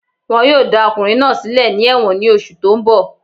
Wọ́n yóò dá ọkùnrin náà sílẹ̀ ní ẹ̀wọ̀n ní oṣù tó n bọ̀